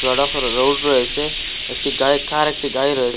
ধরা ফরে রোড রয়েসে একটি গাড়ি কার একটি গাড়ি রয়ে --